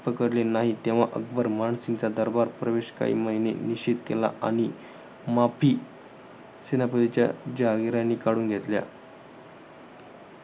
पकडले नाही. तेव्हा अकबर, मानसिंगचा दरबार प्रवेश काही महिने निषेध केला. आणि माफी, सेनापतीच्या जहांगीरानी काढून घेतल्या.